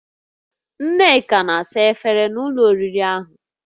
Nneka na-asa efere na ụlọ oriri ahụ